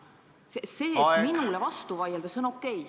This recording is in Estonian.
See, et minule vastu vaieldakse, on okei.